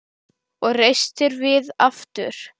Og reistir við aftur.